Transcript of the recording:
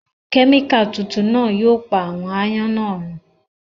Kẹmika tuntun náa yóò pa àwọn àayan náa run